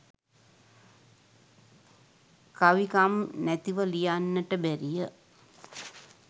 කවිකම් නැතිව ලියන්නට බැරිය.